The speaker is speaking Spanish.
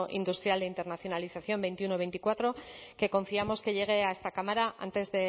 industrial e internacionalización veintiuno veinticuatro que confiamos que llegue a esta cámara antes